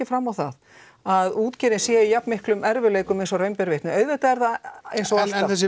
fram á það að útgerðin sé í jafn miklum erfiðleikum eins og raun ber vitni auðvitað er það eins og alltaf en þessi